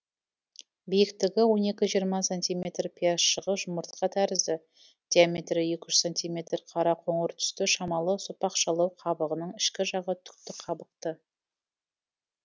биіктігі он екі жиырма сантиметр пиязшығы жұмыртқа тәрізді диаметрі екі үш сантиметр қара қоңыр түсті шамалы сопақшалау қабығының ішкі жағы түкті қабықты